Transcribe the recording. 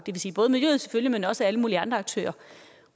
vil sige både miljøet selvfølgelig men også alle mulige andre aktører